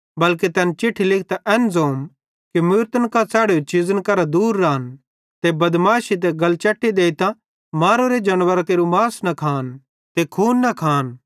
बल्के तैन चिट्ठी लिखतां एन ज़ोम कि मूरतन कां च़ैढ़ोरी चीज़ां करां दूर रान ते बदमैशी ते गलचैटी देइतां मारोरे जानवरां केरू मास न खान ते खून न खान